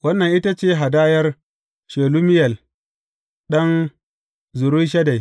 Wannan ita ce hadayar Shelumiyel ɗan Zurishaddai.